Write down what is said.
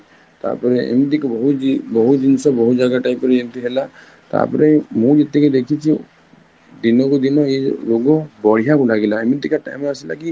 ତାପର ଏମିତ ହଉଛି ବହୁତ ଜିନିଷ ବହୁତ ଜାଗା type ରେ ଏମିତି ହେଲା, ତାପରେ ମୁଁ ଯେତିକି ଦେଖିଛି ଦିନକୁ ଦିନ ଏଇ ରୋଗ ବଢିଆକୁ ଲାଗିଲା ଏମିତିକା time ଆସିଲା କି